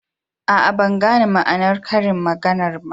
Aa, ban gane ma'anar karin maganan ba.